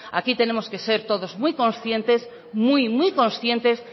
aquí tenemos que ser todos muy conscientes muy muy conscientes